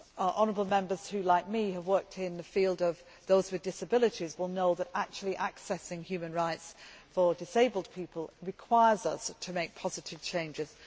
Honourable Members who, like me, have worked in the field of those with disabilities will know that actually accessing human rights for disabled people requires us to make positive changes.